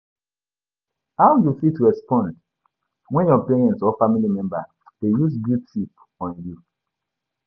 how you fit respond when your parents or family members dey use guilt-trip on you?